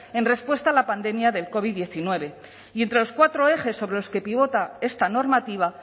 en respuesta a la pandemia del covid hemeretzi y entre los cuatro ejes sobre los que pivota esta normativa